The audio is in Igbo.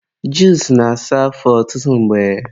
juusu na-asa afọ ọtụtụ mgbe